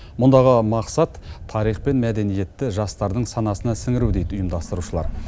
мұндағы мақсат тарих пен мәдениетті жастардың санасына сіңіру дейді ұйымдастырушылар